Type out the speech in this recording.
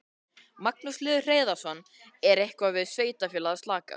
Magnús Hlynur Hreiðarsson: Er eitthvað við sveitarfélagið að sakast?